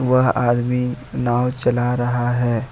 वह आदमी नाव चल रहा है।